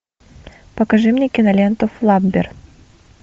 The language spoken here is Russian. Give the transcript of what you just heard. покажи мне киноленту флаббер